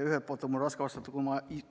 Ühelt poolt on mul raske vastata,